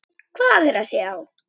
Hvað er að sjá